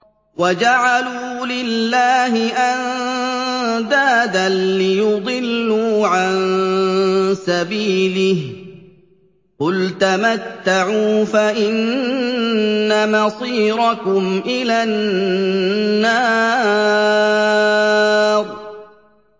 وَجَعَلُوا لِلَّهِ أَندَادًا لِّيُضِلُّوا عَن سَبِيلِهِ ۗ قُلْ تَمَتَّعُوا فَإِنَّ مَصِيرَكُمْ إِلَى النَّارِ